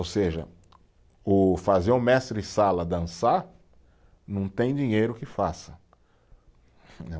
Ou seja, o fazer o mestre-sala dançar, não tem dinheiro que faça.